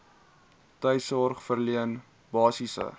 tuissorg verleen basiese